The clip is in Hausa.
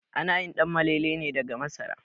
Ana yin Ɗanmalele ne daga masara